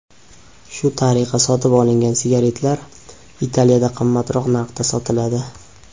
Shu tariqa sotib olingan sigaretlar Italiyada qimmatroq narxda sotiladi.